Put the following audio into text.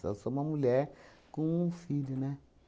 Só sou uma mulher com um filho, né?